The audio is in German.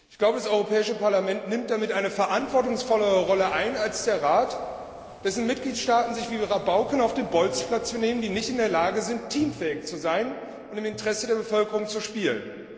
Ich glaube, das Europäische Parlament nimmt damit eine verantwortungsvollere Rolle ein als der Rat, dessen Mitgliedstaaten sich wie Rabauken auf den Bolzplatz benehmen, die nicht in der Lage sind, teamfähig zu sein und im Interesse der Bevölkerung zu spielen.